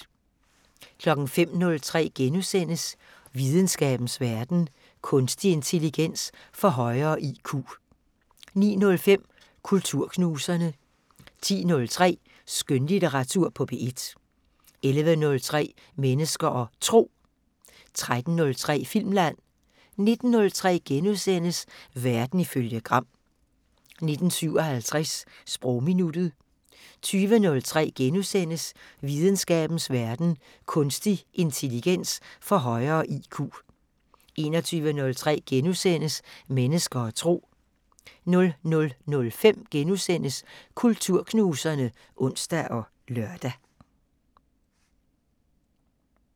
05:03: Videnskabens Verden: Kunstig intelligens får højere IQ * 09:05: Kulturknuserne 10:03: Skønlitteratur på P1 11:03: Mennesker og Tro 13:03: Filmland 19:03: Verden ifølge Gram * 19:57: Sprogminuttet 20:03: Videnskabens Verden: Kunstig intelligens får højere IQ * 21:03: Mennesker og Tro * 00:05: Kulturknuserne *(ons og lør)